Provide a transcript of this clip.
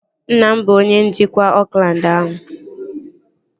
Nna m bụ onye njikwa Oakland ahụ